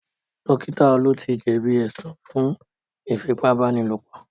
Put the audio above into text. Dókítà Olú ti jẹ̀bí ẹ̀sùn fún Ífipá-báni-lòpọ̀